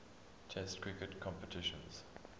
test cricket competitions